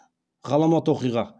ғаламат оқиға